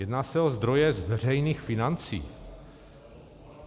Jedná se o zdroje z veřejných financí.